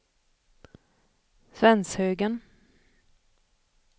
Svenshögen